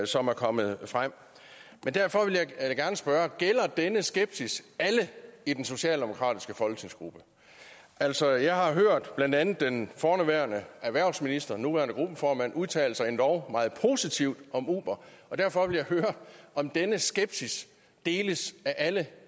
som er kommet frem derfor vil da jeg gerne spørge gælder denne skepsis alle i den socialdemokratiske folketingsgruppe altså jeg har hørt blandt andet den forhenværende erhvervsminister og nuværende gruppeformand udtale sig endog meget positivt om uber og derfor vil jeg høre om denne skepsis deles af alle